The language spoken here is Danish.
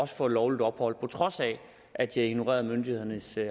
få lovligt ophold på trods af at de har ignoreret myndighedernes